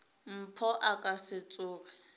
mpho a ka se tsoge